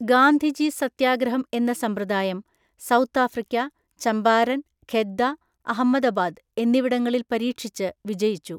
ഗാന്ധിജി സത്യാഗ്രഹം എന്ന സമ്പ്രദായം South Africa Champaran Kheda Ahmedabad എന്നിവിടങ്ങളിൽ പരീക്ഷിച്ച് വിജയിച്ചു.